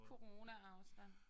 Coronaafstand